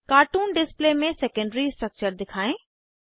cartoon display में secondary structure दिखाएँ